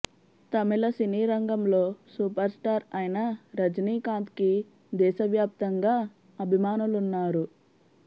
తమిళ సినీ రంగంలో super star అయిన రజనీకాంత్కి దేశవ్యాప్తంగా అభిమానులున్నారు